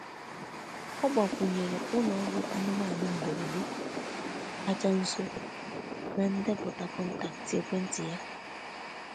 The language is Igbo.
Ọ gbakwunyere ụlọ ọgwụ anụmanụ mberede kacha nso na ndepụta kọntaktị ekwentị ya.